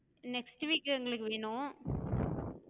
next week எங்களுக்கு வேணும்.